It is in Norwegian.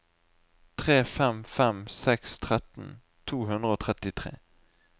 tre fem fem seks tretten to hundre og trettitre